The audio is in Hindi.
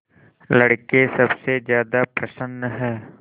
लड़के सबसे ज्यादा प्रसन्न हैं